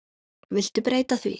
Viltu breyta því